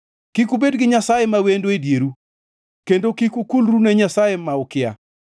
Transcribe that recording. Kik ubed gi nyasaye ma wendo e dieru, kendo kik ukulru ne nyasaye ma ukia.